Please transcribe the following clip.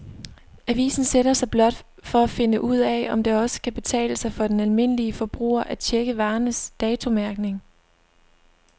Avisen sætter sig blot for at finde ud af, om det også kan betale sig for den almindelige forbruger at checke varernes datomærkning.